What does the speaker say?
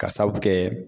Ka sababu kɛ